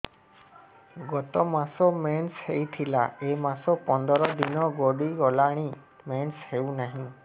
ଗତ ମାସ ମେନ୍ସ ହେଇଥିଲା ଏ ମାସ ପନ୍ଦର ଦିନ ଗଡିଗଲାଣି ମେନ୍ସ ହେଉନାହିଁ